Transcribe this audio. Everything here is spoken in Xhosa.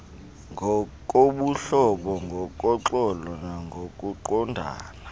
ngokobuhlobo ngoxolo nangokuqondana